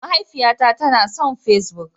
Mahaifiyata ta son da Facebook.